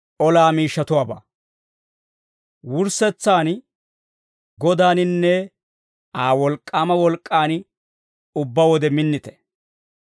Wurssetsaan, Godaaninne Aa wolk'k'aama wolk'k'an ubbaa wode minnite.